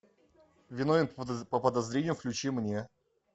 виновен по подозрению включи мне